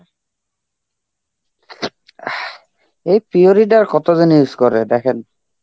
এই pure it আর কতজন use করে দেখেন.